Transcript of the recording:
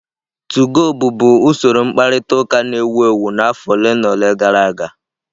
2go bụbu usoro mkparịta ụka na-ewu ewu n'afọ ole na ole gara aga.